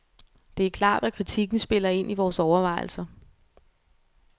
Det er klart, at kritikken spiller ind i vores overvejelser.